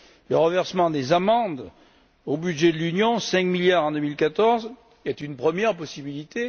Le reversement des amendes au budget de l'Union, 5 milliards en 2014, est une première possibilité.